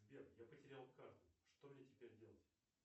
сбер я потерял карту что мне теперь делать